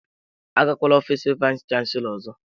Agakwala ofiis vayis chansilọ ọzọ!